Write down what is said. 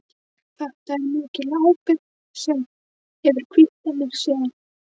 Þetta er mikil ábyrgð sem hefur hvílt á mér síðan.